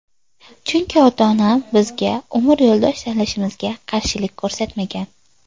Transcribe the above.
Chunki, ota-onam bizga umr yo‘ldosh tanlashimizga qarshilik ko‘rsatmagan.